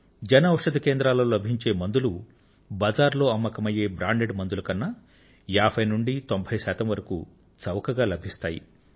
జన ఔషధి కేంద్రాలలో లభించే మందులు బజార్లో అమ్మకమయ్యే బ్రాండెడ్ మందుల కన్నా ఏభై శాతం నుండీ తొంభై శాతం వరకూ చౌకగా లభిస్తాయి